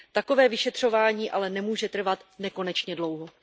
Takové vyšetřování ale nemůže trvat nekonečně dlouho.